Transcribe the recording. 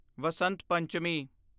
Basant Panchami